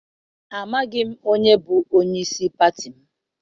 Amaghị m onye bụ onyeisi pati m.